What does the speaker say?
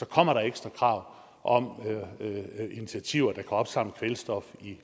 kommer ekstra krav om initiativer der kan opsamle kvælstof i